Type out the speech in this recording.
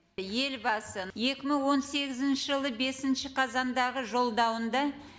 елбасы екі мың он сегізінші жылы бесінші қазандағы жолдауында